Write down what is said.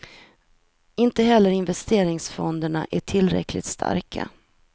Inte heller investeringsfonderna är tillräckligt starka.